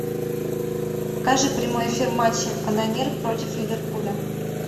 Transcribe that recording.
покажи прямой эфир матча канонир против ливерпуля